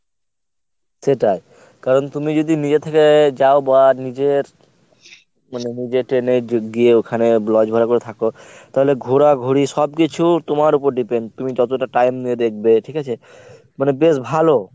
সেটাই। কারণ তুমি যদি নিজে থেকে যাও বা নিজের মানে নিজে train এ গিয়ে ওখানে lodge ভাড়া করে থাক তাহলে ঘোরাঘুরি সবকিছু তো তোমার উপর depend তুমি যতটা time নিয়ে দেখবে ঠিকাছে? মানে বেশ ভালো।